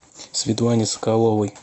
светлане соколовой